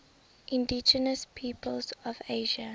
indigenous peoples of asia